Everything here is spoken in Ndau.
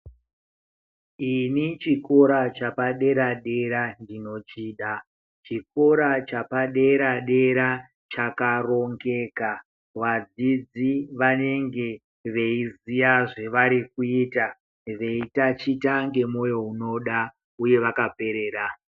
Ini chikora chapadera dera ndinochida chikora chapadera dera chakarongeka vadzidzi vanenge veiziya zvavari kuita veitachita ngemoyo unoda uye vakaperera.